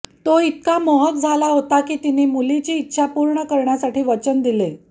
तो इतका मोहक झाला होता की तिने मुलीची इच्छा पूर्ण करण्यासाठी वचन दिले